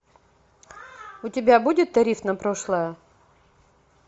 у тебя будет тариф на прошлое